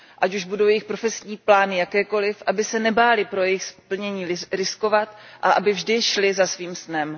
Ať už budou jejich profesní plány jakékoliv, aby se nebály pro jejich splnění riskovat a aby vždy šly za svým snem.